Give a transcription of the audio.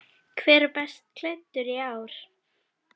Hver er best klæddur í ár?